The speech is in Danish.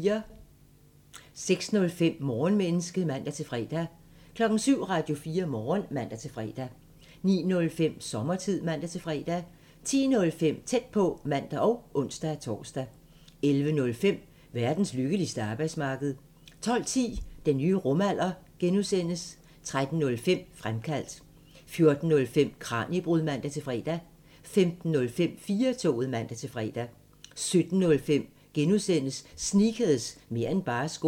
06:05: Morgenmenneske (man-fre) 07:00: Radio4 Morgen (man-fre) 09:05: Sommertid (man-fre) 10:05: Tæt på (man og ons-tor) 11:05: Verdens lykkeligste arbejdsmarked 12:10: Den nye rumalder (G) 13:05: Fremkaldt 14:05: Kraniebrud (man-fre) 15:05: 4-toget (man-fre) 17:05: Sneakers – mer' end bare sko (G)